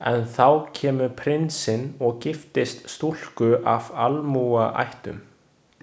En þá kemur prinsinn og giftist stúlku af almúgaættum.